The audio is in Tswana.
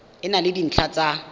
e na le dintlha tsa